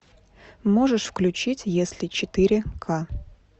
можешь включить если четыре ка